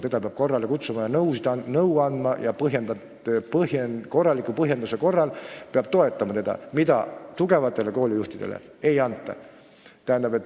Teda peab korrale kutsuma, talle peab nõu andma ja korraliku põhjenduse korral peab teda toetama, mida paraku tugevatele koolijuhtidele ei võimaldata.